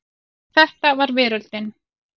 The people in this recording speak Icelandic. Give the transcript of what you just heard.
Þetta var veröldin.